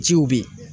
Ciw bɛ yen